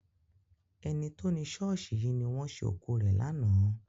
Ẹni tó ni ṣọ́ọ̀ṣì yìí ni wọ́n ṣé òkú rẹ̀ lánàá.